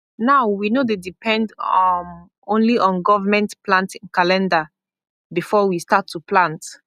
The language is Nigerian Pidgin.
now we no dey depend um only on government planting calendar before we start to plant